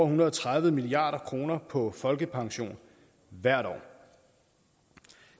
hundrede og tredive milliard kroner på folkepension hvert år